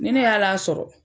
Ni ne ye hali a sɔrɔ